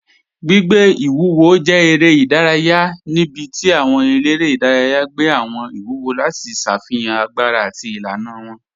Gbìgbẹ̀ iwúwò jẹ̀ èrè idàrayà níbí tí àwọn èlẹ́rẹ̀ idàrayà gbẹ̀ àwọn iwúwò lati ṣáfihan agbára àti ilànà wọn.